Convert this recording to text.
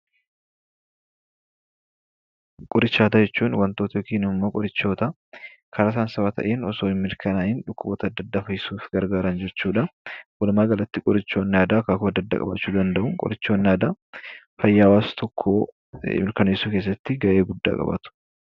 Qoricha aadaa jechuun wantoota yookiin immoo qorichoota karaa saayinsawaa ta'een osoo hin mirkanaa'in dhukkuboota adda addaa fayyisuuf gargaaran jechuu dha. Walumaagalatti, qorichoonni aadaa akaakuu adda addaa qabaachuu danda'u. Qorichootni aadaa fayyaa hawaasa tokkoo mirkaneessuu keessatti gahee guddaa qabaatu.